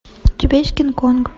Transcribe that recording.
у тебя есть кинг конг